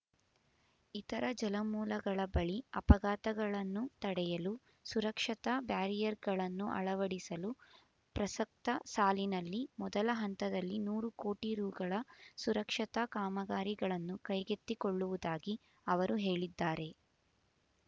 ಇತರ ಜಲಮೂಲಗಳ ಬಳಿ ಅಪಘಾತಗಳನ್ನು ತಡೆಯಲು ಸುರಕ್ಷತಾ ಬ್ಯಾರಿಯರ್‌ಗಳನ್ನು ಅಳವಡಿಸಲು ಪ್ರಸಕ್ತ ಸಾಲಿನಲ್ಲಿ ಮೊದಲ ಹಂತದಲ್ಲಿ ನೂರು ಕೋಟಿ ರೂಗಳ ಸುರಕ್ಷತಾ ಕಾಮಗಾರಿಗಳನ್ನು ಕೈಗೆತ್ತಿಕೊಳ್ಳುವುದಾಗಿ ಅವರು ಹೇಳಿದ್ದಾರೆ